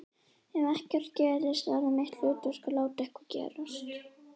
Ef ekkert gerist verður mitt hlutverk að láta eitthvað gerast.